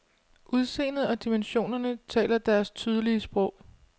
Udseendet og dimensionerne taler deres tydelige sprog.